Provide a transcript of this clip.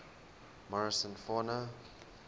morrison fauna